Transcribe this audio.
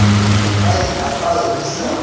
a di apare di sa